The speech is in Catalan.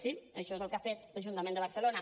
sí això és el que ha fet l’ajuntament de barcelona